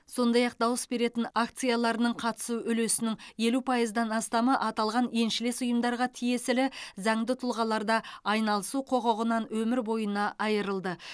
сондай ақ дауыс беретін акцияларының қатысу үлесінің елу пайыздан астамы аталған еншілес ұйымдарға тиесілі заңды тұлғаларда айналысу құқығынан өмір бойына айырылды